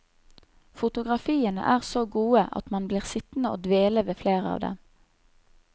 Fotografiene er så gode at man blir sittende og dvele ved flere av dem.